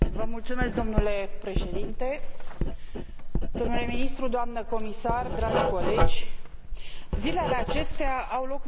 Zilele acesta au loc meciurile de calificare pentru Campionatul European de Fotbal, ceea ce ne face pe toți să ne pricepem la fotbal.